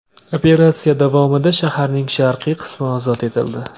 Operatsiya davomida shaharning sharqiy qismi ozod etildi.